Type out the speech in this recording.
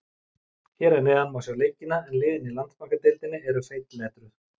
Hér að neðan má sjá leikina en liðin í Landsbankadeildinni eru feitletruð.